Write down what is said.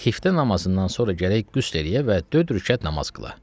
Xiftən namazından sonra gərək qüsl eləyə və dörd rükət namaz qıla.